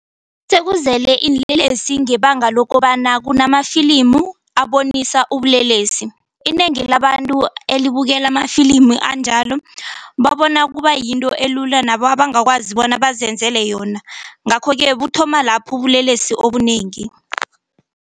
Sekuzele iinlelesi ngebanga lokobana kunamafilimu abonisa ubulelesi. Inengi labantu elibukela amafilimu anjalo babona kuba yinto elula nabo abangakwazi bona bazenzele yona ngakho-ke kuthoma lapho ubulelesi obunengi.